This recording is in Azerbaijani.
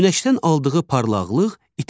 Günəşdən aldığı parlaqlıq itir.